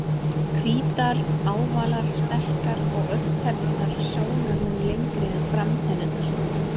Hvítar, ávalar, sterkar og augntennurnar sjónarmun lengri en framtennurnar.